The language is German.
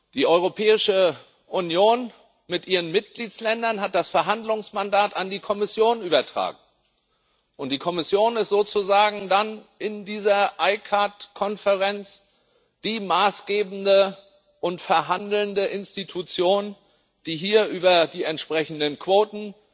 Die Europäische Union mit ihren Mitgliedstaaten hat das Verhandlungsmandat an die Kommission übertragen, und die Kommission ist sozusagen dann in dieser ICCAT Konferenz die maßgebende und verhandelnde Institution, die hier über die entsprechenden Quoten